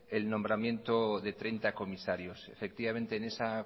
el nombramiento de treinta comisarios efectivamente en esa